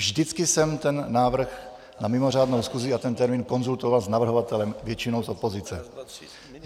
Vždycky jsem ten návrh na mimořádnou schůzi a ten termín konzultoval s navrhovatelem, většinou s opozicí.